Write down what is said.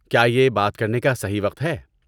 کیا یہ بات کرنے کا صحیح وقت ہے؟